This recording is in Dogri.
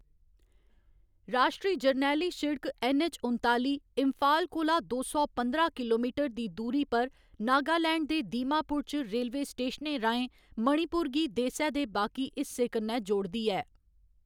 राश्ट्री जरनैली सिड़क ऐन्न. ऐच्च. उनताली इम्फाल कोला दो सौ पंदरां किलोमीटर दी दूरी पर नागालैंड दे दीमापुर च रेलवे स्टेशनें राहें मणिपुर गी देसै दे बाकी हिस्सें कन्नै जोड़दी ऐ।